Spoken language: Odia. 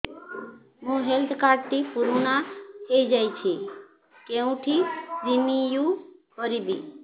ମୋ ହେଲ୍ଥ କାର୍ଡ ଟି ପୁରୁଣା ହେଇଯାଇଛି କେଉଁଠି ରିନିଉ କରିବି